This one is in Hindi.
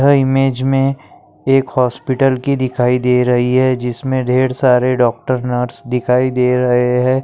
यह इमेज मे एक हॉस्पिटल की दिखाई दे रही है। जिसमे ढेर सारे डॉक्टर नर्स दिखाई दे रहे है।